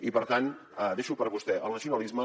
i per tant deixo per a vostè el nacionalisme